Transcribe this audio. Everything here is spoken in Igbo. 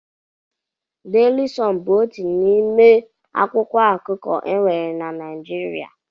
Daily Sun bụ otu n'ime akwụkwọ akụkọ e nwere Naịjirịa.